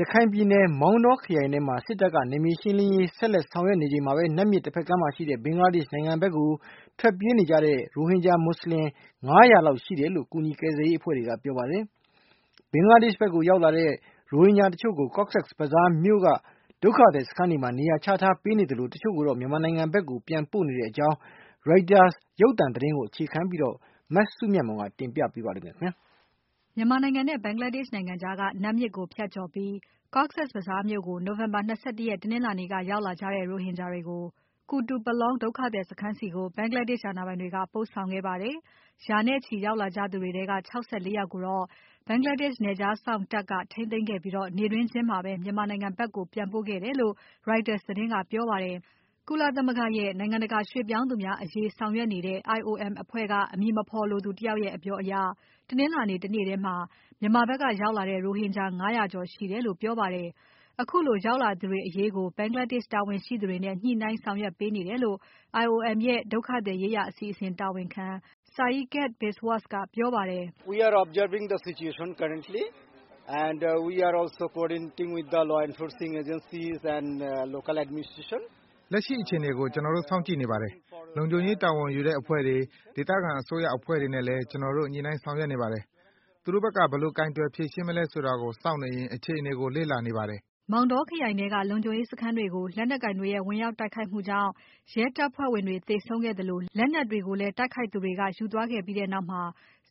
ရခိုင်ပြည်နယ် မောင်တောခရိုင်ထဲမှာ စစ်တပ်က နယ်မြေရှင်းလင်းရေး ဆက်လက်ဆောင်ရွက်နေချိန်မှာပဲ၊ နတ်မြစ်တဖက်ကမ်းမှာရှိတဲ့ ဘင်္ဂလားဒေရှ့်နိုင်ငံဖက်ကိုထွက်ပြေးနေတဲ့ ရိုဟင်ဂျာမွတ်ဆလင် ၅၀၀ လောက်ရှိတယ်လို့ ကူညီကယ်ဆယ်ရေးအဖွဲ့တွေက ပြောပါတယ်။ ဘင်္ဂလားဒေရှ့်ဖက်ကို ရောက်လာတဲ့ ရိုဟင်ဂျာဒုက္ခတချို့ကို Cox’s Bazar မြို့က ဒုက္ခသည်စခန်းတွေမှာ နေရာချထားပေးနေသလို တချို့ကိုတော့ မြန်မာနိုင်ငံဖက်ကို ပြန်ပို့နေတဲ့အကြောင်း Reuters ရုပ်သံသတင်းကို အခြေခံပြီး မစုမြတ်မွန်က တင်ပြပါမယ်။ မြန်မာနဲ့ ဘင်္ဂလားဒေရှ့်နိုင်ငံကြားက နတ်မြစ်ကို ဖြတ်ကျော်ပြီး Cox's Bazar မြို့ကို နိုဝင်ဘာ ၂၁ ရက် တနင်္လာနေ့က ရောက်လာကြတဲ့ ရိုဟင်ဂျာတွေကို Kutupalong ဒုက္ခသည်စခန်းတွေဆီကို ဘင်္ဂလားဒေရှ့်အာဏာပိုင်တွေက ပို့ဆောင်ခဲ့ပါတယ်။ ရာနဲ့ချီရောက်လာကြသူတွေထဲက ၆၄ ယောက်ကို Bangladesh နယ်ခြားစောင့်တပ်က ထိန်းသိမ်းခဲ့ပြီး နေ့တွင်းချင်းမှာပဲ မြန်မာနိုင်ငံဖက်ကို ပြန်ပို့ခဲ့တယ်လို့ Reuters သတင်းကပြောပါတယ်။ ကုလသမဂ္ဂရဲ့ နိုင်ငံတကာရွှေ့ပြောင်းသူများအရေးဆောင်ရွက်နေတဲ့ IOM အဖွဲ့က အမည်မဖော်လိုသူတယောက်ရဲ့ အပြောအရ တနင်္လာနေ့တနေ့ထဲ မြန်မာဖက်ကရောက်လာတဲ့ ရိုဟင်ဂျာ ၅၀၀ ကျော်ရှိတယ်လို့ ပြောပါတယ်။ ခုလိုရောက်လာသူတွေအရေးကို ဘင်္ဂလားဒေရှ့်တာဝန်ရှိသူတွေနဲ့ ညှိုှုနှိုင်းဆောင်ရွက်ပေးနေတယ်လို့ IOM ရဲ့ ဒုက္ခသည်ရေးရာ အစီအစဉ်တာဝန်ခံ Saikat Biswas ကပြောပါတယ်။ “ လက်ရှိအခြေအနေကို ကျွန်တော်တို့စောင့်ကြည့်နေပါတယ်။ လုံခြုံရေးတာဝန်ယူတဲ့အဖွဲ့တွေ၊ ဒေသခံအစိုးရအဖွဲ့တွေနဲ့လည်း ကျွန်တော်တို့ ညှိုနှိုင်းဆောင်ရွက်နေပါတယ်။ သူတို့ဖက်က ဘယ်လိုကိုင်တွယ်ဖြေရှင်းမလဲဆိုတာကို စောင့်နေရင်း အခြေအနေကို လေ့လာနေပါတယ်။” မောင်တောခရိုင်ထဲက လုံခြုံရေးစခန်းတွေကို လက်နက်ကိုင်တွေရဲ့ဝင်ရောက်တိုက်ခိုက်မှုကြောင့် ရဲတပ်ဖွဲ့ဝင်တွေ သေဆုံးခဲ့သလို လက်နက်တွေကိုလည်း တိုက်ခိုက်သူတွေက ယူသွားခဲ့ပြီးနောက်မှာ